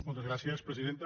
moltes gràcies presidenta